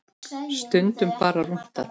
Stundum bara rúntað.